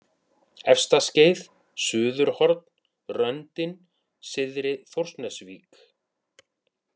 Efstaskeið, Suðurhorn, Röndin, Syðri-Þórsnesvík